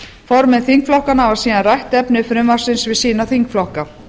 formenn þingflokkanna hafa síðan rætt efni frumvarpsins við sína þingflokka